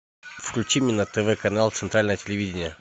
включи мне на тв канал центральное телевидение